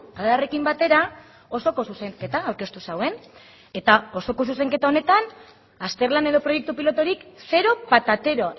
adarrekin batera osoko zuzenketa aurkeztu zuen eta osoko zuzenketa honetan azterlan edo proiektu piloturik zero patatero